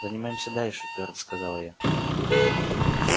занимаемся дальше твёрдо сказала я